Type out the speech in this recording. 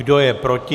Kdo je proti?